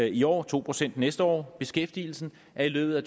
i år og to procent næste år og beskæftigelsen er i løbet af